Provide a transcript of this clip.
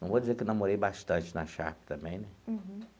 Não vou dizer que namorei bastante na Sharp também, né?